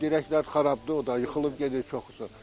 Dirəklər xarabdır, o da yıxılıb gedir çoxusu.